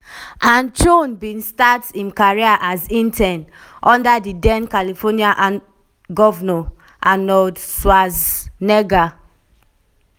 and cheung bin start im career as intern under di den carlifornia govnor arnold schwarzenegger.